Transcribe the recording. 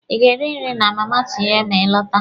Ị ga-eri nri na Mama Tinye ma ị lọta.